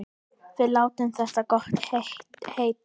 Við látum þetta gott heita.